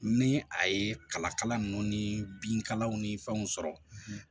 Ni a ye kala kala ninnu ni binkalanw ni fɛnw sɔrɔ